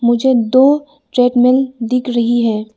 मुझे दो ट्रेडमिल दिख रही है।